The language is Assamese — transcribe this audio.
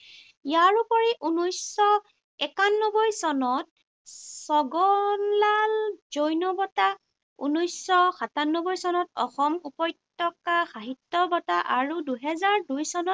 ইয়াৰ উপৰি ঊনৈশশ একানব্বৈ চনত ছগনলাল জৈন বঁটা, ঊনৈশশ সাতানব্বৈ চনত অসম উপত্যকা সাহিত্য বঁটা আৰু দুহেজাৰ দুই চনত